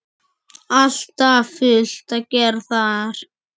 Alltaf fullt að gera þar!